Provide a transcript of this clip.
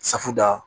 Safu da